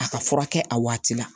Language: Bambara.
A ka furakɛ a waati la